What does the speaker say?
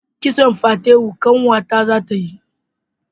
Kitson fatewo ƙanwa ta za ta yi